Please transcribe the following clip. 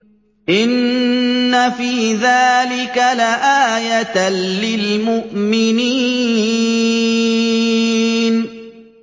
إِنَّ فِي ذَٰلِكَ لَآيَةً لِّلْمُؤْمِنِينَ